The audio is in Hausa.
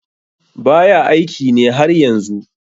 baya aiki ne har yanzu